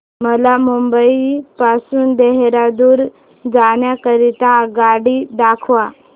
मला मुंबई पासून देहारादून जाण्या करीता आगगाडी दाखवा